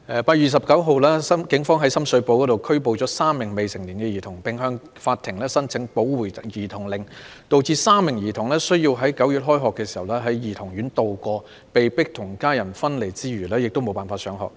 8月29日，警方於深水埗拘捕3名未成年兒童，並向法庭申請保護兒童令，導致該3名兒童在9月開學時須在兒童院內度過，除被迫與家人分離外，亦無法上學。